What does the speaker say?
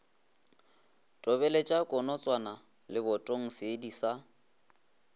tobeletša konotswana lebotong seedi sa